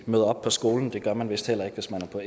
møder op på skolen det gør man vist heller ikke hvis man